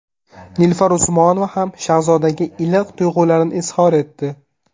Nilufar Usmonova ham Shahzodaga iliq tuyg‘ularini izhor etdi.